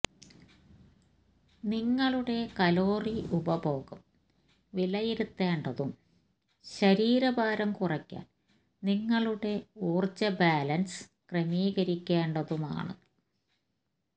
നിങ്ങളുടെ കലോറി ഉപഭോഗം വിലയിരുത്തേണ്ടതും ശരീരഭാരം കുറയ്ക്കാൻ നിങ്ങളുടെ ഊർജ്ജ ബാലൻസ് ക്രമീകരിക്കേണ്ടതുമാണ്